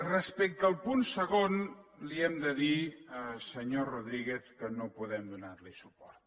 respecte al punt segon li hem de dir senyor rodríguez que no podem donar hi suport